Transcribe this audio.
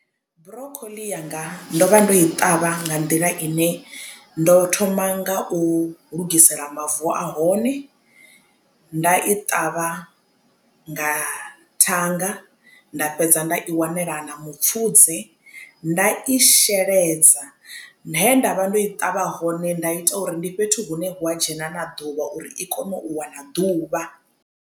Broccoli yanga ndo vha ndo i ṱavha nga nḓila ine ndo thoma nga u lugisela mavu ahone nda i ṱavha nga thanga nda fhedza nda i wanela na mupfudze nda i sheledza he ndavha ndo i ṱavha hone nda ita uri ndi fhethu hune ha dzhena na ḓuvha uri i kone u wana ḓuvha.